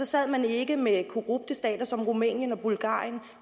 sad man ikke med korrupte stater som rumænien og bulgarien